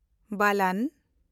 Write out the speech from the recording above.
ᱵᱟᱞᱟᱱ